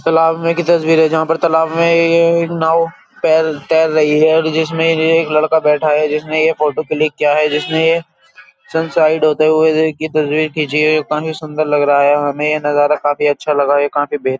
तालाब में एक तस्बीर है जहां पर तालाब में ये एक नाव तैर तैर रही है और जिसमें जो है एक लड़का बैठा है जिसमें ये फोटो क्लिक किया है जिसने ये सनसाइड होते हुए ये काफी सुंदर लग रहा है हमें ये नजारा काफी अच्छा लगा ये काफी बेह --